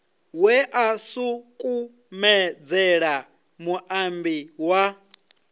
we a sukumedzela muambi wa